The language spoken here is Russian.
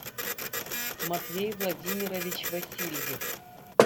матвей владимирович васильев